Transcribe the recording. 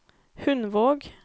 Hundvåg